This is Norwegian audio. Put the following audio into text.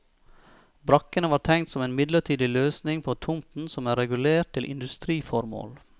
Brakkene var tenkt som en midlertidig løsning på tomten som er regulert til industriformål.